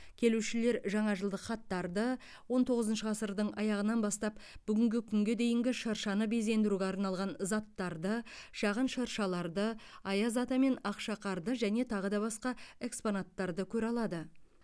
келушілер жаңажылдық хаттарды он тоғызыншы ғасырдың аяғынан бастап бүгінгі күнге дейінгі шыршаны безендіруге арналған заттарды шағын шыршаларды аяз ата мен ақшақарды және тағы да басқа экспонаттарды көре алады